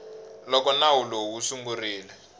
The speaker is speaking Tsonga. loko nawu lowu wu sungurile